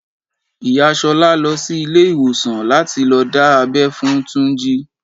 Ìyá Ṣolá lọ sí ilé ìwòsàn láti lọ dá abẹ́ fún Túnjí.